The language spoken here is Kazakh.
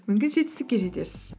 мүмкін жетістікке жетерсіз